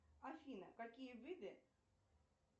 афина какие виды